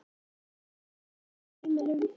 Oft frá vandræðaheimilum.